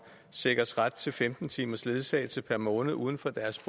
sikres ret til femten timers ledsagelse per måned uden for deres